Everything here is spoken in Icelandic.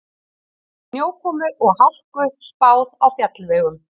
Snjókomu og hálku spáð á fjallvegum